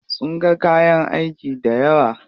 Sun ga kayan aiki dayawa.